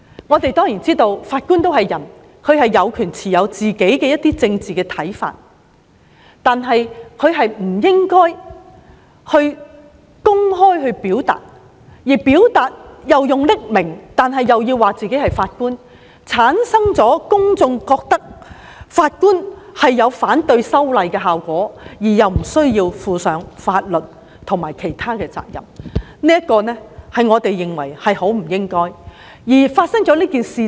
我們明白法官也是人，他有權持有個人的政治看法，但他不應該公開表達，更不應以匿名的方式表達，這會令公眾認為法官反對修例，但又不需負上法律或其他責任，我們認為很不應該這樣。